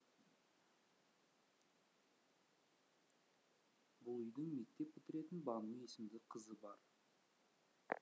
бұл үйдің мектеп бітіретін бану есімді қызы бар